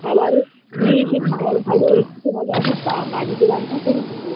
খাওয়ার নিয়ে এসে খাওয়ার ভালো এর থেকে ভালো আমি বা বাড়িতে রান্না করে নিবো